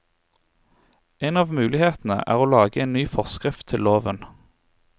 En av mulighetene er å lage en ny forskrift til loven.